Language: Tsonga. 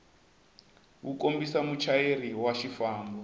wu kombisa muchayeri wa xifambo